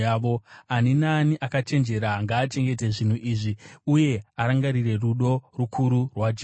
Ani naani akachenjera ngaachengete zvinhu izvi, uye arangarire rudo rukuru rwaJehovha.